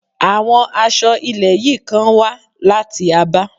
Àwọn aṣọ ilẹ̀ yìí kan wá láti Abá.